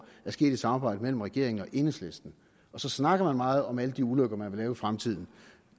er sket i et samarbejde mellem regeringen og enhedslisten og så snakker man meget om alle de ulykker man vil lave i fremtiden